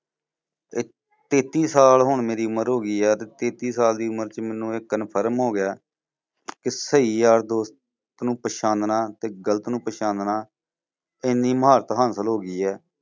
ਤੇਤੀ ਸਾਲ ਹੁਣ ਮੇਰੀ ਉਮਰ ਹੋ ਗਈ ਆ ਤੇ ਤੇਤੀ ਸਾਲ ਦੀ ਉਮਰ ਚ ਮੈਨੂੰ ਇਹ confirm ਹੋ ਗਿਆ ਕਿ ਸਹੀ ਯਾਰ ਦੋਸਤ ਨੂੰ ਪਛਾਨਣਾ ਇੱਕ ਗਲਤ ਨੂੰ ਪਛਾਨਣਾ ਏਨੀ ਮੁਹਾਰਤ ਹਾਸਿਲ ਹੋ ਗਈ ਹੈ।